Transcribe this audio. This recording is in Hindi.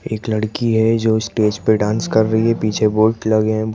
एक लड़की है जो स्टेज पे डांस कर रही है पीछे बोल्ट लगे हैं।